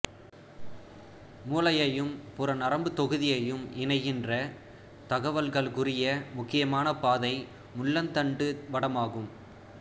மூளையையும் புற நரம்புத் தொகுதியையும் இணைக்கின்ற தகவல்களுக்குரிய முக்கியமான பாதை முள்ளந்தண்டு வடமாகும்